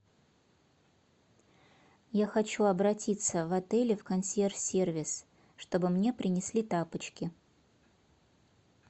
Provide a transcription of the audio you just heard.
я хочу обратиться в отеле в консьерж сервис чтобы мне принесли тапочки